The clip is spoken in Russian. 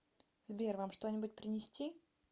сбер вам что нибудь принести